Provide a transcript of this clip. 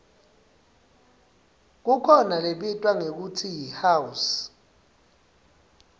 kukhona lebitwa ngekutsi yihouse